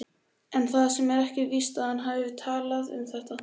En það er ekki víst að hann hefði viljað tala um þetta.